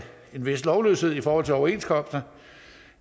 en vis lovløshed i forhold til overenskomster